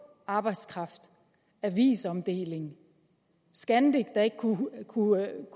arbejdskraft avisomdeling scandic der ikke kunne kunne